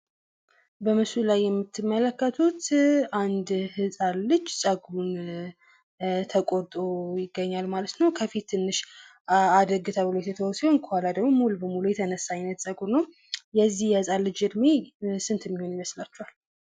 በምስሉ ላይ የምትመለከቱት አንድ ህጻን ልጅ ጸጉሩን ተቆርጦ ይገኛል ማለት ነው። ከፊት ትንሽ አደግ ተብሎ የተተዎ ሲሆን ከኋላ ደግሞ ሙሉ በሙሉ የተነሳ ጸጉር ነው። የዚህ ልጅ እድሜ ስንት የሚሆን ይመስላችኋል?